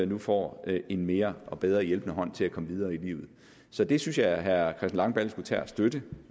nu får en mere og bedre hjælpende hånd til at komme videre i livet så det synes jeg herre langballe skulle tage at støtte